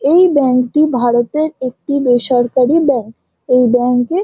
এই ব্যাঙ্ক টি ভারতের একটি বেসরকারি ব্যাংক । এই ব্যাঙ্ক -এ --